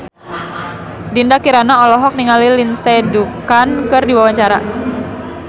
Dinda Kirana olohok ningali Lindsay Ducan keur diwawancara